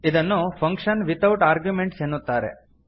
ಇದನ್ನು function without arguments ಎನ್ನುತ್ತಾರೆ